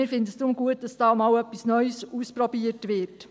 Wir finden es deshalb gut, dass hier einmal etwas Neues ausprobiert wird.